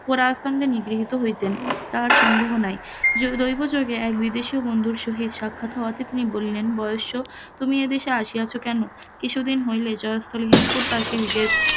Honour সঙ্গে নিগৃহিত হইতেন তাহার সন্দেহ নাই দৈবযোগে এক বিদেশি বন্ধুর সহিত সাক্ষাত হওয়াতে তিনি বলিলেন বয়স তুমি এদেশে আসিয়াছ কেন? কিছুদিন হইল এই জয়স্থল হেমকূটবাসী নিজের